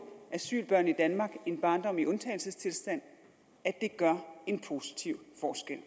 asylbørn i danmark en barndom i undtagelsestilstand at det gør en positiv forskel